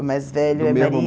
O mais velho é Maria.